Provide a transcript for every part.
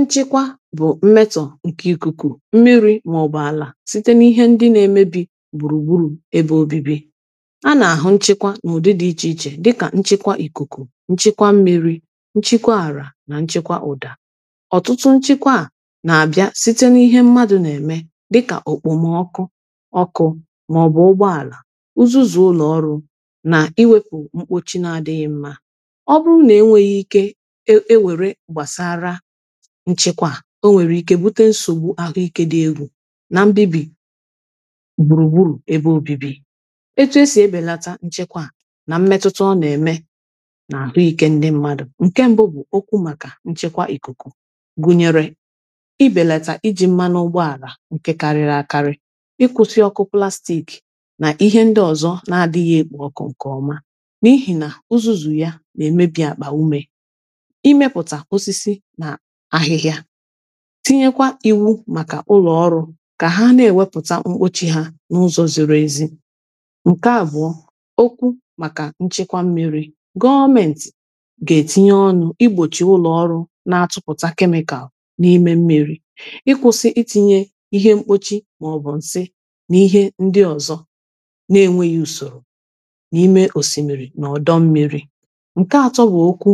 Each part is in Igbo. Nchịkwa bụ mmetọ nke ikuku, mmiri ma ọ bụ ala site n’ihe ndị na-emebi gburugburu ebe obibi. A na-ahụ nchịkwa n’ụdị dị iche iche dịka nchịkwa ikuku, nchịkwa mmiri, nchịkwa ara na nchịkwa ụda. Ọtụtụ nchịkwa a na-abịa site n’ihe mmadụ na-eme dịka okpomọkụ, ọkụ, ma ọ bụ ụgbọala, uzuzu ụlọ ọrụ na iwepu mkpochi na-adịghị mma. Ọ bụrụ na enweghi ike e e e were gbasara nchịkwa a o nwere ike bute nsogbu ahụike dị egwu na mbibi gburugburu ebe obibi. Etu esi ebelata nchịkwa a, na mmetụta ọ na-eme na ahụike ndị mmadụ, nke mbụ bụ okwu maka nchịkwa ikuku gụnyere ibelata iji mmanu n’ụgbọala nke karịrị akarị, ịkwụsị ọkụ plastic na ihe ndị ọzọ na-adịghị ekpo ọkụ nke ọma, n’ihi na uzuzu ya na-emebi akpa ume. Ị mepụta osisi na ahịhịa, tinyekwa iwu maka ụlọ ọrụ ka ha na-ewepụta mkpochi ha n’ụzọ ziri ezi. Nke abụọ; okwu maka nchịkwa mmiri, gọọmenti ga-etinye ọnụ igbochi ụlọ ọrụ na-atụpụta chemical n’ime mmiri, ịkwụsị itinye ihe mkpochi ma ọ bụ nsị na ihe ndị ọzọ na-enweghị usoro n’ime osimmiri na ọdọ mmiri. Nke atọ bụ okwu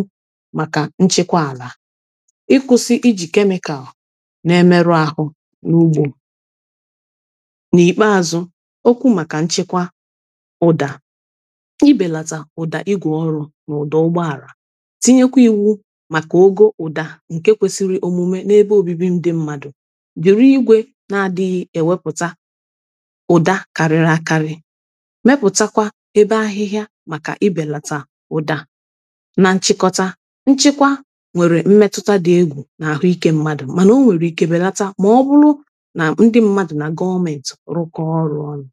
maka nchịkwa ala, ịkwụsị iji chemical na-emerụ ahụ n'ugbo. N'ikpeazụ okwu maka nchịkwa ụda ibèlata ụda igwe ọrụ na ụda ụgbọala tinyekwa iwu maka ogo ụda nke kwesiri omume n’ebe obibi ndị mmadụ were igwe na-adịghị ewepụta ụda kariri akari, mepụtakwa ebe ahịhịa maka ibelata ụda. Na nchịkọta, nchịkwa nwere mmetụta dị egwu na-ahụike mmadụ mana ọ nwere ike belata ma ọ bụrụ na ndị mmadụ na gọọmenti rụkọọ ọrụ ọnụ.